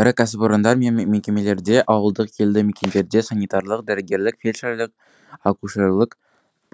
ірі кәсіпорындар мен мекемелерде ауылдық елді мекендерде санитарлық дәрігерлік фельдшерлік акушерлік